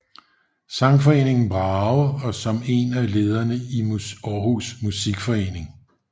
Sangforeningen Brage og som en af lederne i Aarhus Musikforening